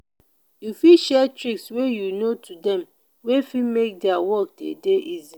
you fit share tricks wey you know to them wey fit make their work dey dey easy